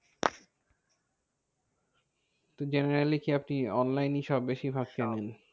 তো generally কি আপনি online ই সব বেশিভাগ কেনেন?